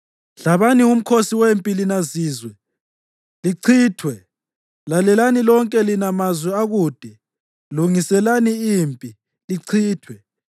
Hlabani umkhosi wempi lina zizwe, lichithwe! Lalelani lonke lina mazwe akude. Lungiselani impi, lichithwe! Lungiselani impi lichithwe!